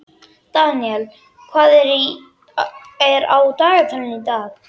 Daniel, hvað er á dagatalinu í dag?